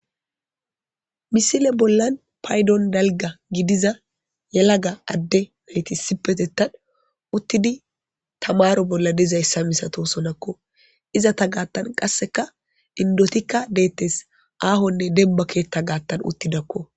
Misile bollan paydon dalga gidiza yelaga adde nayti sipetettan uttidi tamaro bolla dizayssa misato sonakko izata gaattan qasseka indotikka deettes aahonne demba keetta gaattan uttidakko.